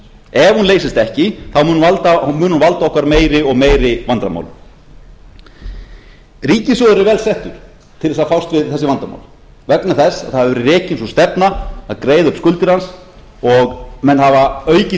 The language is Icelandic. ef hún leysist ekki mun hún valda okkur meiri og meiri vandamálum ríkissjóður er vel settur til þess að fást við þessi vandamál vegna þess að það hefur verið rekin sú stefna að greiða upp skuldir hans og menn hafa aukið